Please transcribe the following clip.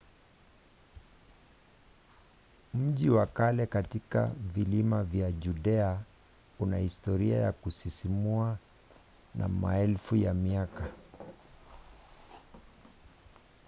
mji wa kale katika vilima vya judea una historia ya kusisimua ya maelfu ya miaka